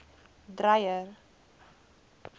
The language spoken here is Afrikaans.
dreyer